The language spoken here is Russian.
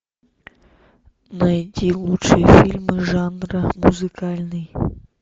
найди лучшие фильмы жанра музыкальный